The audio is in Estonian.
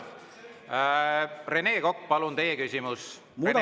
Rene Kokk, palun, teie küsimus!